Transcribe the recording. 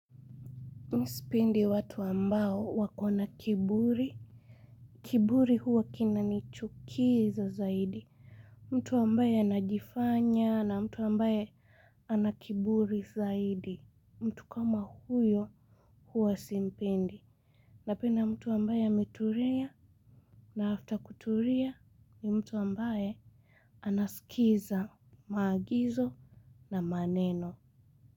Mi sipendi watu ambao wakona kiburi. Kiburi huwa kinanichukiza zaidi. Mtu ambaye anajifanya na mtu ambaye ana kiburi zaidi. Mtu kama huyo huwa simpendi. Napenda mtu ambaye ametulia na after kutulia ni mtu ambaye anaskiza maagizo na maneno.